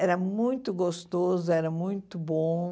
Era muito gostoso, era muito bom.